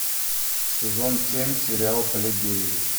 сезон семь сериал плебеи